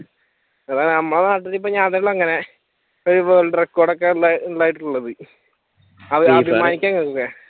അതാണ് നമ്മടെ നാട്ടിൽ ഞാൻ തന്നെ ഇങ്ങനെ ഒരു വേൾഡ് റെക്കോർഡ് ഒക്കെ ഉണ്ടായിട്ടുള്ളത്